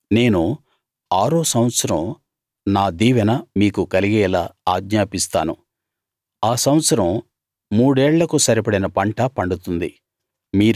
నేను ఆరో సంవత్సరం నా దీవెన మీకు కలిగేలా ఆజ్ఞాపిస్తాను ఆ సంవత్సరం మూడేళ్ళకు సరిపడిన పంట పండుతుంది